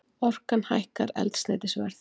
Orkan hækkar eldsneytisverð